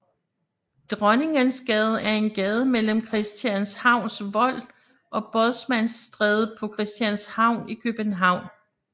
Dronningensgade er en gade mellem Christianshavns Vold og Bådsmandsstræde på Christianshavn i København